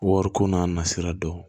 Wariko n'a nasira dɔn